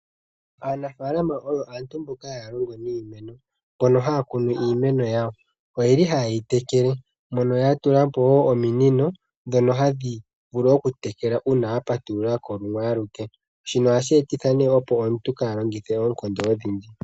Aanafaalama oyo aantu mboka haya longo niimuna mbono haya kunu iimeno yawo . Oyeli ha yeyi tekele mono yatulapo woo ominino ndhona hadhi vulu okutekela uuna wa patululako lumwe aluke shino ohashi etitha nee opo omuntu kaalongithe oonkondo odhindji.